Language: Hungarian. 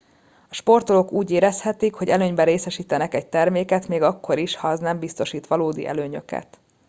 a sportolók úgy érezhetik hogy előnyben részesítenek egy terméket még akkor is ha az nem biztosít valódi előnyöket